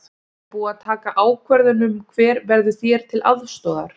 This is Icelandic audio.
Er búið að taka ákvörðun um hver verður þér til aðstoðar?